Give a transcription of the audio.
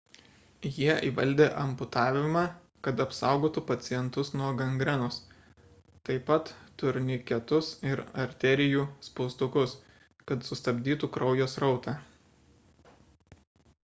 jie įvaldė amputavimą kad apsaugotų pacientus nuo gangrenos taip pat – turniketus ir arterijų spaustukus kad sustabdytų kraujo srautą